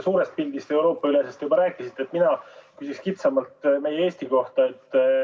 Suurest pildist või üleeuroopalisest pildist te juba rääkisite, mina küsin kitsamalt Eesti kohta.